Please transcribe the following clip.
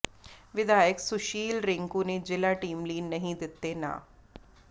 ਵਿਧਾਇਕ ਸੁਸ਼ੀਲ ਰਿੰਕੂ ਨੇ ਜ਼ਿਲ੍ਹਾ ਟੀਮ ਲਈ ਨਹੀਂ ਦਿੱਤੇ ਨਾਂ